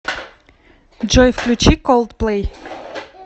джой включи колдплей